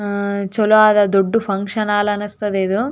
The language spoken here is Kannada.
ಆ ಚಲೋ ಆದ ದೊಡ್ಡ ಫಂಕ್ಷನ್ ಹಾಲ್ ಅನ್ನಿಸ್ತದ ಇದು.